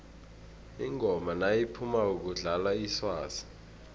ingoma nayiphumako kudlalwa iswazi